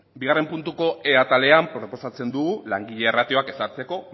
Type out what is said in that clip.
bigarren puntuko e atalean proposatzen dugu langile ratioak ezartzeko